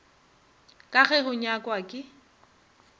ka ge go nyakwa ke